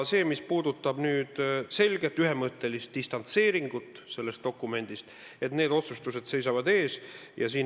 Mis puudutab selget ühemõttelist distantseeringut sellest dokumendist, siis need otsustused seisavad ees.